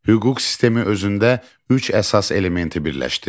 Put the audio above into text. Hüquq sistemi özündə üç əsas elementi birləşdirir.